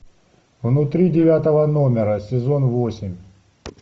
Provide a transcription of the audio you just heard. внутри девятого номера сезон восемь